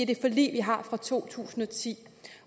det forlig vi har fra to tusind og ti